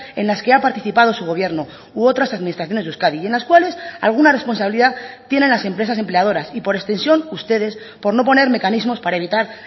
en las que ha participado su gobierno u otras administraciones de euskadi y en las cuales alguna responsabilidad tienen las empresas empleadoras y por extensión ustedes por no poner mecanismos para evitar